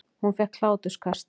Hún fékk hláturkast.